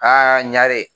Aa ɲare